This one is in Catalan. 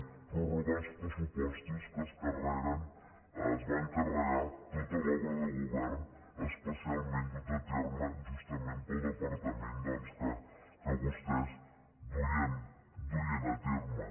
prorrogar uns pressupostos que es carreguen es van carregar tota l’obra de govern especialment duta a terme justament pel departament que vostès duien a terme